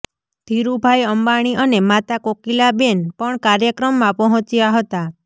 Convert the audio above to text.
ધીરુભાઇ અંબાણી અને માતા કોકિલાબેન પણ કાર્યક્રમમાં પહોંચ્યા હતા